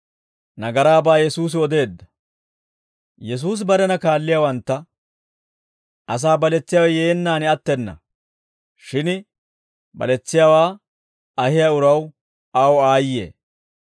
Yesuusi barena kaalliyaawantta, «Asaa baletsiyaawe yeennaan attena; shin baletsiyaawaa ahiyaa uraw aw aayye;